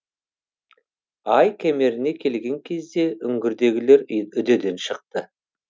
ай кемеріне келген кезде үңгірдегілер үдеден шықты